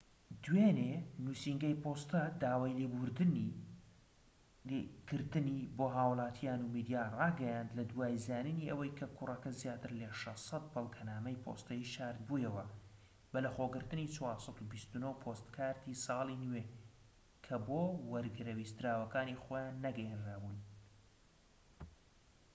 دوێنێ نووسینگەی پۆستە داوای لێبوردن کردنی بۆ هاوڵاتیان و میدیا ڕاگەیاند لە دوای زانینی ئەوەی کە کوڕەکە زیاتر لە 600 بەڵگەنامەی پۆستەیی شارد بوویەوە بەلەخۆگرتنی 429پۆستکاردی ساڵی نوێ کە بۆ وەرگرە ویستراوەکانی خۆیان نەگەیەنرا بوون